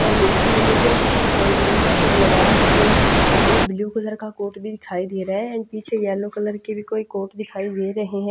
इसमें दो तीन कोट की सैंपल भी यहाँ पे लगा रखे हैं एक ब्लू कलर का कोट भी दिखाई दे रहा है एंड पीछे येलो कलर की भी कोई कोट दिखाई दे रहे हैं।